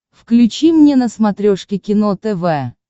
включи мне на смотрешке кино тв